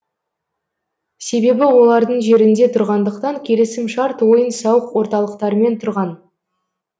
себебі олардың жерінде тұрғандықтан келісім шарт ойын сауық орталықтарымен тұрған